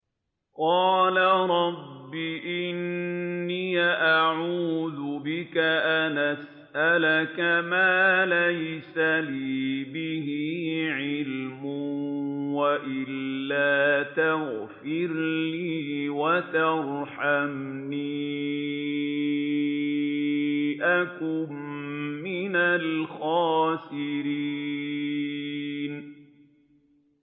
قَالَ رَبِّ إِنِّي أَعُوذُ بِكَ أَنْ أَسْأَلَكَ مَا لَيْسَ لِي بِهِ عِلْمٌ ۖ وَإِلَّا تَغْفِرْ لِي وَتَرْحَمْنِي أَكُن مِّنَ الْخَاسِرِينَ